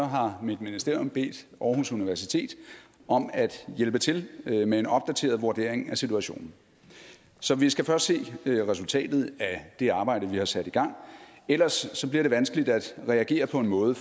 har mit ministerium bedt aarhus universitet om at hjælpe til med en opdateret vurdering af situationen så vi skal først se resultatet af det arbejde vi har sat i gang ellers bliver det vanskeligt at reagere på en måde